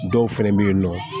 Dɔw fɛnɛ be yen nɔ